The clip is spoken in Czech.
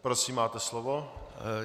Prosím, máte slovo.